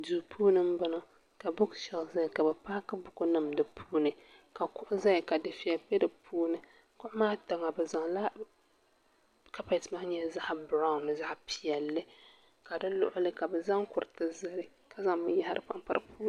duu puuni n bɔŋɔ ka buuks sheelf ʒɛya ka bi paaki buku nim di puuni ka kuɣu ʒɛya ka dufɛli bɛ di puuni kuɣu maa tiŋa bi zaŋla kapɛt maa nyɛla zaɣ biraawn ni zaɣ piɛlli ka di luɣuli ka bi zaŋ kuɣu zali ka zaŋ binyahari panpa di Zuɣu